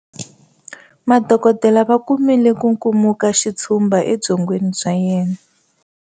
Madokodela va kumile nkukumukaxitshumba ebyongweni bya yena